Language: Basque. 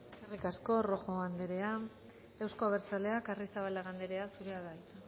eskerrik asko rojo anderea euzko abertzaleak arrizabalaga anderea zurea da hitza